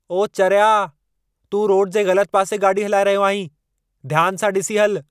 ओ चरिया, तूं रोड जे ग़लतु पासे गाॾी हलाए रहियो आहीं। ध्यान सां ॾिसी हलु।